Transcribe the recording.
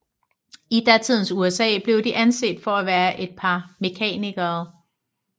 I datidens USA blev de anset for være et par mekanikere